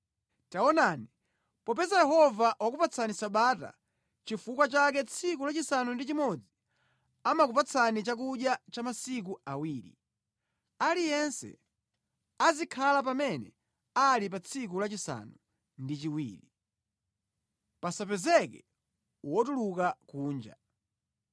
Taonani, popeza Yehova wakupatsani Sabata nʼchifukwa chake tsiku lachisanu ndi chimodzi amakupatsani chakudya cha masiku awiri. Aliyense azikhala pamene ali pa tsiku lachisanu ndi chiwiri, pasapezeke wotuluka kunja.”